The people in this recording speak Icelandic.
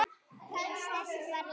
Þín stelpa, Rúna.